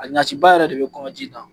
A ɲaciba yɛrɛ de be kɔɲɔji in na.